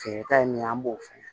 Feereta ye min ye an b'o fɛnɛ